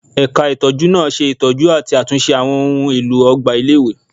Ẹ̀ka ìtọ́jú náà ṣe ìtọ́jú àti àtúnṣe àwọn ohùn èlò ọgbà ilé-ìwé